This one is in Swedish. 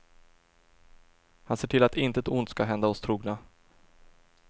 Han ser till att intet ont ska hända oss trogna.